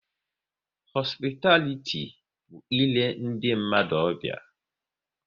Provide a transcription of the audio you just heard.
Họsupitaliti bụ île ndị mmadụ ọbịa